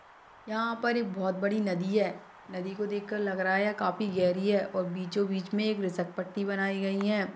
यहाँ पर एक बोहोत बड़ी नदी है नदी को देख कर लग रहा है यह काफी गहरी है और बीचों -बीच में एक बनाई गई हैं।